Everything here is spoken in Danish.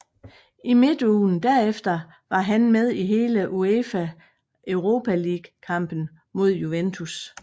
I midtugen derefter var han med i hele UEFA Europa League kampen mod Juventus